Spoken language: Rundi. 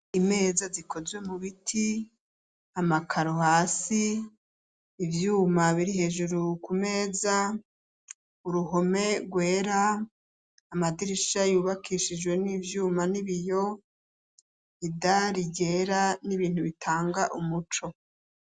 Imeza zikozwe mu biti, amakaro hasi, ivyuma biri hejuru ku meza, uruhome rwera, amadirisha yubakishijwe n'ivyuma n'ibiyo, idari ryera n'ibintu bitanga umuco.